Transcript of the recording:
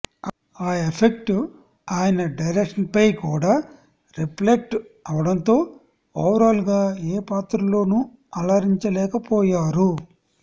ఆ ఎఫెక్ట్ ఆయన డైరెక్షన్పై కూడా రిఫ్లెక్ట్ అవడంతో ఓవరాల్గా ఏ పాత్రలోను అలరించలేకపోయారు